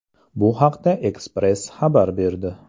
Bu haqda Express xabar berdi .